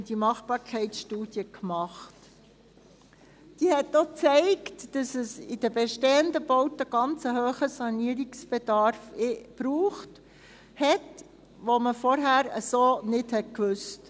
Diese zeigte auch, dass es in den bestehenden Bauten einen ganz hohen Sanierungsbedarf gibt, von dem man zuvor so nicht wusste.